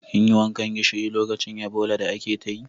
Kin yi wankan gishiri lokacin Ebola da ake ta yi?